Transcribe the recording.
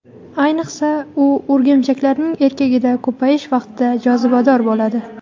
Ayniqsa, u o‘rgimchaklarning erkagida ko‘payish vaqtida jozibador bo‘ladi.